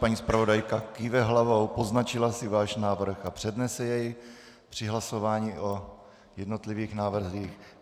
Paní zpravodajka kýve hlavou, poznačila si váš návrh a přednese jej při hlasování o jednotlivých návrzích.